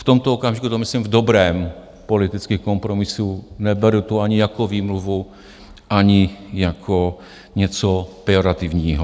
V tomto okamžiku to myslím v dobrém politických kompromisů, neberu to ani jako výmluvu, ani jako něco pejorativního.